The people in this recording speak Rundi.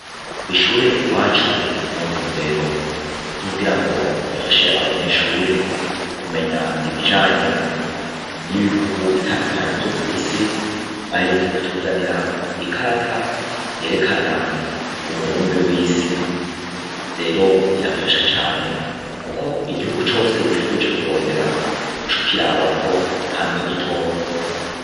Kw'ishure iwacu mu ntumbero zo kugirango bafashe abanyeshure kumenya ibijanye n'ibihugu bitandukanye vyo kw'isi, baherutse kutuzanira ikarata yerekana umubumbe w'isi. Rero irafasha cane kuko igihugu cose wipfuje kurondera uc'ukirabako kandi ukagitora.